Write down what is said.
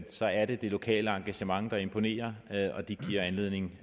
så er det det lokale engagement der imponerer og det giver anledning